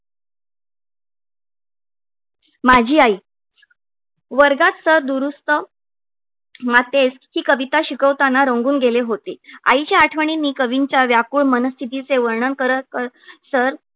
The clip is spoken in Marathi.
माझी आई वर्गाचा दुरुस्त हि कविता शिकवताना रंगून गेले होते. आईच्या आठवणीनी कवींच्या व्याकुळ मनस्थिती चे वर्णन करत तर